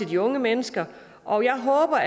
de unge mennesker og jeg håber